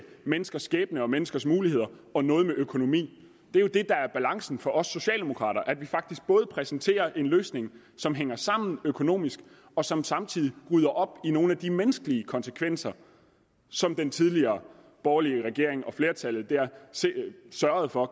menneskers skæbne og menneskers muligheder og noget med økonomi det er jo det der er balancen for os socialdemokrater nemlig at vi faktisk præsenterer en løsning som hænger sammen økonomisk og som samtidig rydder op i nogle af de menneskelige konsekvenser som den tidligere borgerlige regering og flertallet sørgede for